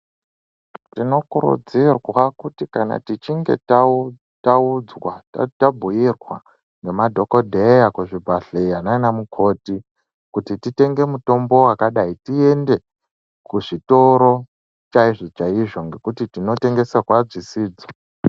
Tinokurudzirwa kuti kana tichinge tau tau taudzwa tabhuirwa nemadhokodheya kuzvibhadhleya naanamukoti kuti titenge mutombo wakadai tiende, kuzvitoro chaizvo chaizvo, nekuti tinotengeserwa dzisidzo.